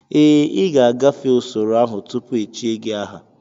Ee, ị ga-agafe usoro ahụ tupu echie gị aha